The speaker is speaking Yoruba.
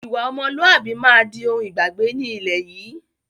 Ìwà ọmọlúwàbí máa di òun ìgbàgbé ni ilẹ̀ yìí